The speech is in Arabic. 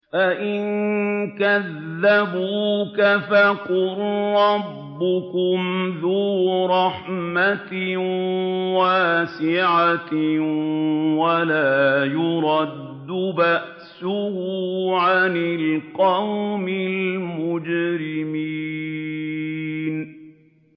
فَإِن كَذَّبُوكَ فَقُل رَّبُّكُمْ ذُو رَحْمَةٍ وَاسِعَةٍ وَلَا يُرَدُّ بَأْسُهُ عَنِ الْقَوْمِ الْمُجْرِمِينَ